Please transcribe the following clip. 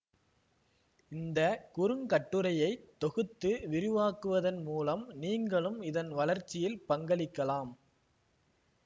இந்த குறுங்கட்டுரையை தொகுத்து விரிவாக்குவதன் மூலம் நீங்களும் இதன் வளர்ச்சியில் பங்களிக்கலாம்